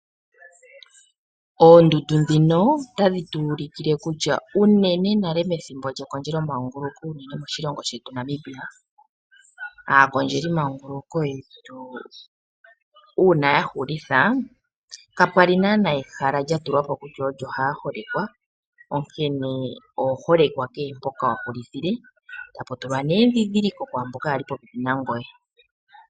Oondundu dhino otadhi tu ulukile kutya unene nale methimbo lyekondjelo manguluko unene moshilongo shetu Namibia, aakondjelimanguluko yetu uuna ya hulitha kapwali naana ehala lya tulwa po kutya olyo haya holekwa onkene oho holekwa kehe mpoka wa hulithile, tapu tulwa nee edhidhiliko kwaamboka yali popepi nangoye.